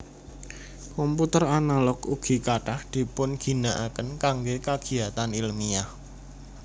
Komputer analog ugi kathah dipun ginakaken kangge kagiyatan ilmiyah